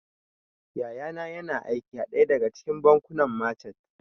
Yaya na yana aiki a ɗaya daga cikin bankunan machat